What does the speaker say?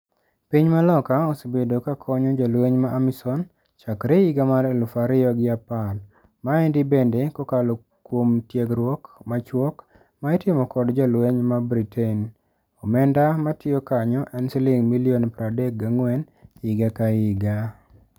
Piny ma loka osebedo ka konyo jolweny ma Amisom chakre higa mar eluf ario gi apar. Maendi bende kokalo kuom tiegruok machuok maitimo kod jolweny ma Britain. Omenda matio kanyo en siling milion pradek gangwen higa ka higa.